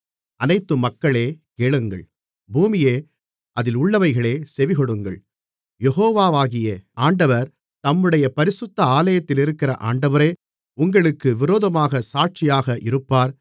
அனைத்து மக்களே கேளுங்கள் பூமியே அதிலுள்ளவைகளே செவிகொடுங்கள் யெகோவாகிய ஆண்டவர் தம்முடைய பரிசுத்த ஆலயத்திலிருக்கிற ஆண்டவரே உங்களுக்கு விரோதமாகச் சாட்சியாக இருப்பார்